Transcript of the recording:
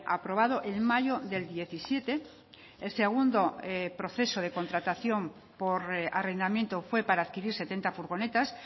aprobado en mayo del diecisiete el segundo proceso de contratación por arrendamiento fue para adquirir setenta furgonetas